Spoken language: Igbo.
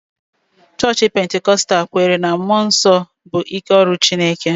Chọọchị Pentikọstal kweere na mmụọ nsọ bụ ike ọrụ Chineke